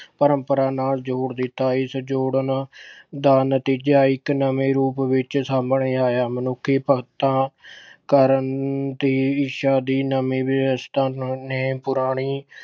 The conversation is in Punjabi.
ਪਰੰਪਰਾ ਨਾਲ ਜੋੜ ਦਿੱਤਾ। ਇਸ ਜੋੜਨ ਦਾ ਨਤੀਜਾ ਇੱਕ ਨਵੇਂ ਰੂਪ ਵਿੱਚ ਸਾਹਮਣੇ ਆਇਆ, ਮਨੁੱਖੀ ਭਗਤਾਂ ਕਰਨ ਦੀ ਇੱਛਾ ਦੀ ਨਵੀਂ ਵਿਵਸਥਾ ਨੂੰ ਅਹ ਨੇ ਪੁਰਾਣੀ